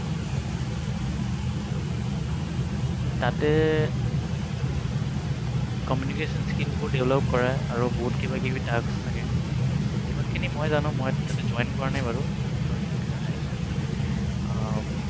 তাতে communication skill বোৰ develop কৰায় আৰু বহুত কিবা কিবি task থাকে। যিমানখিনি মই জানো মই তাতে join কৰা নাই বাৰু but এজনী আহ